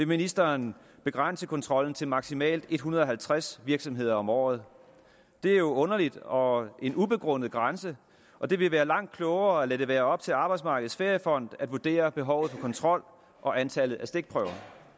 ministeren vil begrænse kontrollen til maksimalt en hundrede og halvtreds virksomheder om året det er jo underligt og en ubegrundet grænse og det vil være langt klogere at lade det være op til arbejdsmarkedets feriefond at vurdere behovet for kontrol og antallet af stikprøver